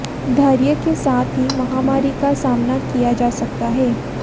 धैर्य के साथ ही महामारी का सामना किया जा सकता है